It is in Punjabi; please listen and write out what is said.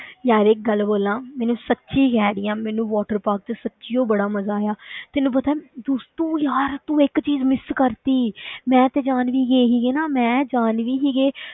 ਯਾਰ ਇੱਕ ਗੱਲ ਬੋਲਾਂ, ਮੈਨੂੰ ਸੱਚੀ ਕਹਿ ਰਹੀ ਹਾਂ ਮੈਨੂੰ water park ਵਿੱਚ ਸੱਚੀ ਹੀ ਬੜਾ ਮਜ਼ਾ ਆਇਆ ਤੈਨੂੰ ਪਤਾ ਹੈ ਦੱਸ ਤੂੰ ਯਾਰ ਤੂੰ ਇੱਕ ਚੀਜ਼ miss ਕਰ ਦਿੱਤੀ ਮੈਂ ਤੇ ਜਾਨਵੀ ਗਏ ਸੀਗੇ ਨਾ ਮੈਂ ਜਾਨਵੀ ਸੀਗੇ,